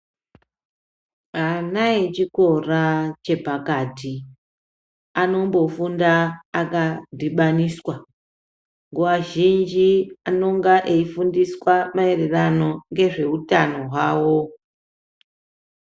Ana echikora chepakati anombofunda akandhibaniswa nguwa zhinji anenge eifunda maererano nezvehutano hwawo.